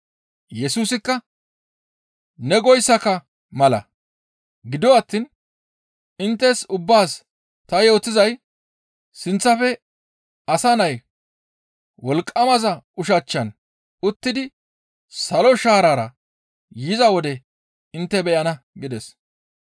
Yesusikka, «Ne goyssaka mala; gido attiin inttes ubbaas ta yootizay sinththafe Asa Nay Wolqqamaza ushachchan uttidi salo shaarara yiza wode intte beyana» gides.